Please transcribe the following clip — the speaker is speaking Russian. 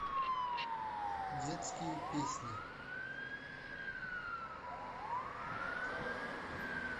детские песни